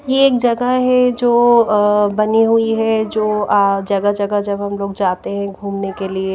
ये एक जगह है जो अअ बनी हुई हैजो आ जगह-जगह जब हम लोग जाते हैं घूमने के लिए--